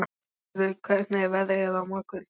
Hörður, hvernig er veðrið á morgun?